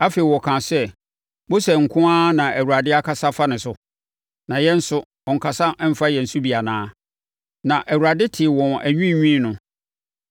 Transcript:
Afei, wɔkaa sɛ, “Mose nko ara na Awurade akasa afa ne so? Na yɛn nso ɔnnkasa mfa yɛn so bi anaa?” Na Awurade tee wɔn anwiinwii no.